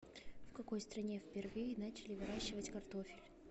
в какой стране впервые начали выращивать картофель